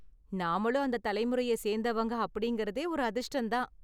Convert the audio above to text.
நாமளும் அந்த தலைமுறையை சேந்தவங்க அப்படிங்கறதே ஒரு அதிர்ஷ்டம் தான்.